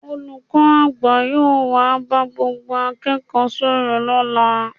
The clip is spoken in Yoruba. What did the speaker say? Olùkọ́ àgbà yóò wá bá gbogbo akẹ́kọ̀ọ́ sọ̀rọ̀ lọ́la